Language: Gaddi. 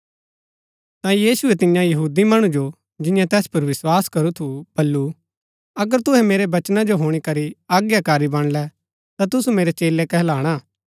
ता यीशुऐ तियां यहूदी मणु जो जियें तैस पुर विस्वास करू थू वलु अगर तूहै मेरै वचना जो हुणी करी आज्ञाकारी बणळै ता तूसु मेरै चेलै कहलाणा